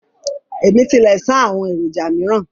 Ẹ̀mí tilẹ̀ ṣáá àwọn èròjà míràn